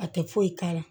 A tɛ foyi k'a la